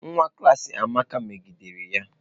Nwa klas Amaka megidere ya.